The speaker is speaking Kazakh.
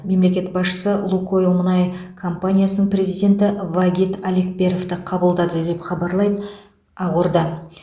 мемлекет басшысы лукойл мұнай компаниясының президенті вагит алекперовті қабылдады деп хабарлайды ақорда